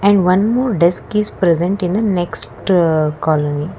one more desk is present in the next colony.